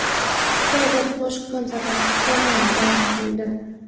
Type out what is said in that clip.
Xitoyda toshqin sabab to‘g‘on vayron bo‘ldi.